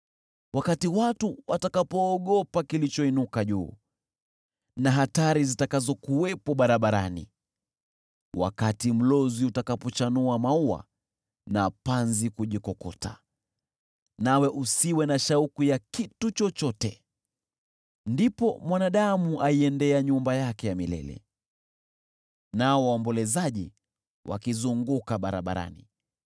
wakati watu watakapoogopa kilichoinuka juu na hatari zitakazokuwepo barabarani; wakati mlozi utakapochanua maua na panzi kujikokota nawe usiwe na shauku ya kitu chochote. Ndipo mwanadamu aiendea nyumba yake ya milele nao waombolezaji wakizunguka barabarani.